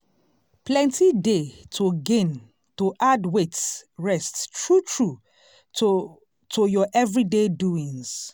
plenty dey to gain to add wait rest true true to to ur everyday doings.